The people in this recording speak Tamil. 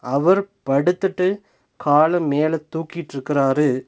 அவர் படுத்துட்டு கால மேல தூக்கிட்ருக்குறாரு.